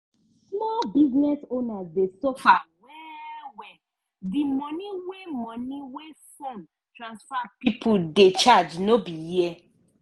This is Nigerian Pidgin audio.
small business owners dey suffer well-well di money wey money wey phone transfer pipo dey charge no be here.